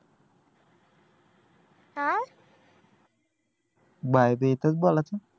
bye भी इथंच बोलायचं